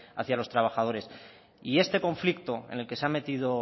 hacia los trabajadores y este conflicto en el que se ha metido